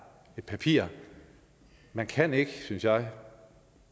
et papir man kan ikke synes jeg